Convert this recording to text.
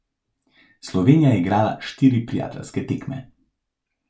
Slovenija je igrala štiri prijateljske tekme.